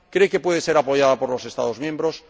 ¿Cree que puede ser apoyada por los Estados miembros?